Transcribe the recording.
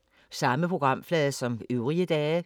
Samme programflade som øvrige dage